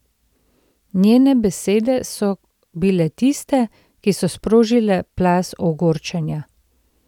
Njene besede so bile tiste, ki so sprožile plaz ogorčenja.